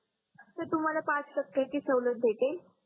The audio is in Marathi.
सर तुम्हाला पाच टक्केची सवलत भेटेल